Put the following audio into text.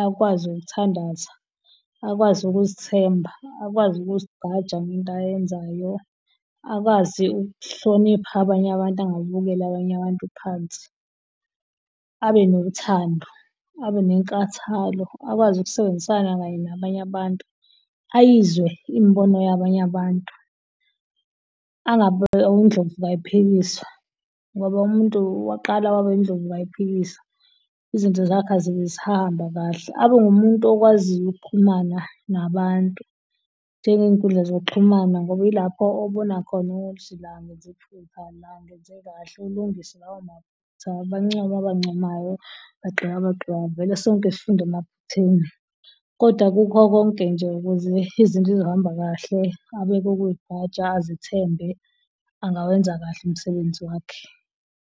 Akwazi ukuthandaza, akwazi ukuz'themba, akwazi ukuzigqaja ngento ayenzayo, akwazi ukuhlonipha abanye abantu. Angababukeli abanye abantu phansi, abe nothando abe nenkathalo, akwazi ukusebenzisana kanye nabanye abantu. Ayizwe imbono yabanye abantu angabi undlovu kayiphikiswa ngoba umuntu waqala waba indlovu kayiphikiswa izinto zakhe azibe zisahamba kahle. Abe umuntu okwaziyo ukuxhumana nabantu njengey'nkundla zokuxhumana ngoba ilapho obonakhona ukuthi la ngenze iphutha la ngenze kahle ulungise lawo maphutha. Bancome abancomayo bagxeke abagxekayo vele sonke sifunda emaphutheni. Kodwa kukho konke nje ukuze izinto zizohamba kahle abeke ukuyiqgaja, azithembe angawenza kahle umsebenzi wakhe.